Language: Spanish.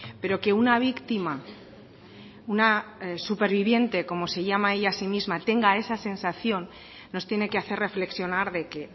pero que una víctima una superviviente como se llama ella a sí misma tenga esa sensación nos tiene que hacer reflexionar de que